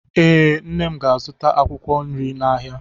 Ee, nne m ga-azụta akwụkwọ nri n'ahịa.